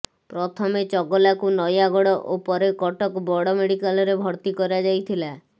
ପ୍ରଥମେ ଚଗଲାକୁ ନୟାଗଡ଼ ଓ ପରେ କଟକ ବଡ଼ ମେଡିକାଲରେ ଭର୍ତି କରାଯାଇଥିଲା